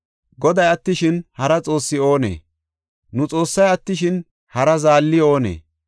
Goday attishin, hara xoossi oonee? Nu Xoossay attishin, hara zaalli oonee?